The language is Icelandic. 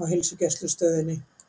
á heilsugæslustöðinni.